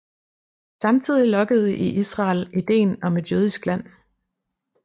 Samtidig lokkede i Israel idéen om et jødisk land